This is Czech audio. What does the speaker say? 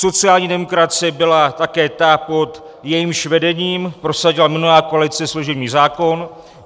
Sociální demokracie byla také ta, pod jejímž vedením prosadila minulá koalice služební zákon.